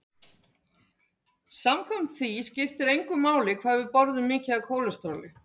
Samkvæmt því skipti engu máli hvað við borðum mikið af kólesteróli.